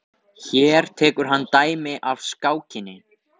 Hér tekur hann dæmi af skákinni.